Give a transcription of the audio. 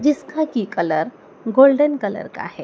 जिसका की colour golden colour का है।